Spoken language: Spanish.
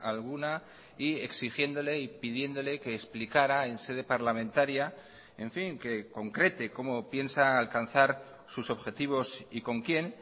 alguna y exigiéndole y pidiéndole que explicara en sede parlamentaria en fin que concrete cómo piensa alcanzar sus objetivos y con quien